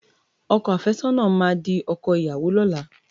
Ọkọ àfẹ́sọ́nà máa di ọkọ ìyàwó lọ́la.